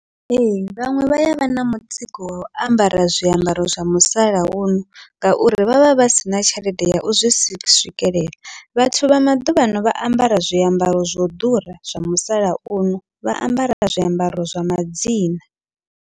Ee, vhaṅwe vha yavha na mutsiko wau ambara zwiambaro zwa musalauno, ngauri vhavha vha sina tshelede ya u zwi swikelela vhathu vha maḓuvhano vha ambara zwiambaro zwo ḓura zwa musalauno, vha ambara zwiambaro zwa madzina.